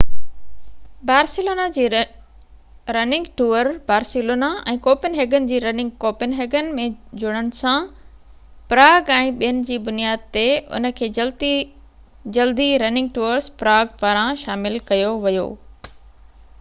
Barcelona جي running tour Barcelona ۽ Copenhagen جي running Copenhagen ۾ جڙن سان پراگ ۽ ٻين جي بنياد تي ان کي جلدي رننگ ٽورس پراگ پاران شامل ڪيو ويو